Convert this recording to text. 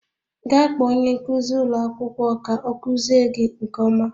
Gaa kpọọ onye nkuzi ụlọ akwụkwọ ka ọ kuziere gị nke ọma